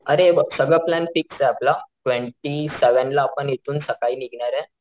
अरे हे बघ सगळं प्लॅन फिक्स आपला ट्वेन्टी सेवन ला आपण इथून सकाळी निघणारे.